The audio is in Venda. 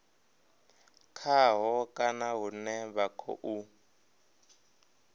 khaho kana hune vha khou